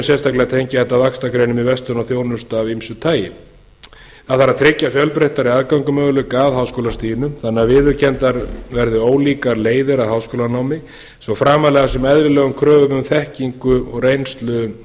sérstaklega tengja þetta vaxta greinum í verslun og þjónustu af ýmsu tagi það þarf að tryggja fjölbreyttari aðgangsmöguleika að háskólastiginu þannig að viðurkenndar verið ólíkar leiðir að háskólanámi svo framarlega sem eðlilegum kröfum um þekkingu og reynslu